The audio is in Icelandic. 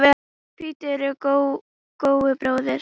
Hvítur er góu bróðir.